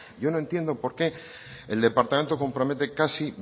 yo no entiendo por qué el departamento compromete casi